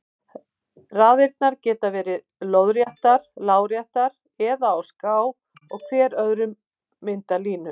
Raðirnar geta verið lóðréttar, láréttar eða á ská og hver röð myndar línu.